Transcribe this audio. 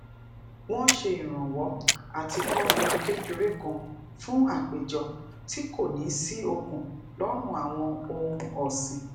wón se irànwo ati ko odi kekere kan fún àpéjọ tí kò ní sí okun lọrùn awon ohun ọsin